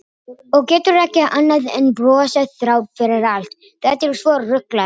Og getur ekki annað en brosað þrátt fyrir allt, þetta er svo ruglað.